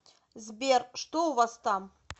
сбер что у вас там